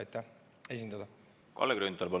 Kalle Grünthal, palun!